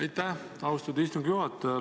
Aitäh, austatud istungi juhataja!